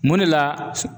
Mun de la